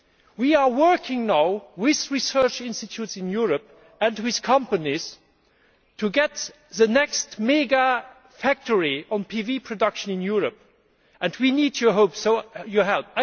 We are now working with research institutes in Europe and with companies to get the next mega factory for PV production in Europe, and we need your help.